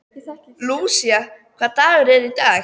Lúísa, hvaða dagur er í dag?